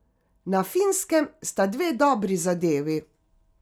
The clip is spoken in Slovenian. Na finskem sta dve dobri zadevi.